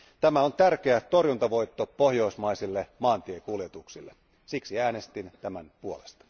Tämä on tärkeä torjuntavoitto pohjoismaisille maantiekuljetuksille, siksi äänestin tämän puolesta.